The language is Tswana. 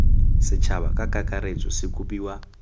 setšhaba ka kakaretso se kopiwa